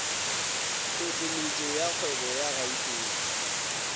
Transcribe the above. tlhohleletšo ya kgwebo ya gauteng